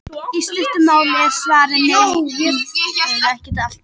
Í stuttu máli er svarið nei, jörðin er ekki alltaf að færast nær sólu.